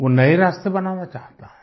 वो नए रास्ते बनाना चाहता है